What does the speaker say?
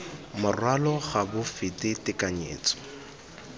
morwalo ga bo fete tekanyetso